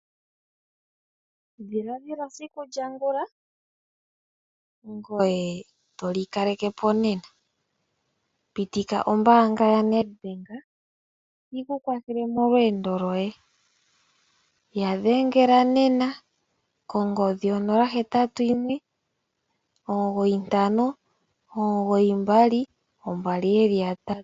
Dhiladhila esiku lya ngula ngoye toli kaleke po nena, pitika ombanga ya Nedbank yi ku kwathele molweendo lyoye ya dhengela nena kongodhi 0819592222.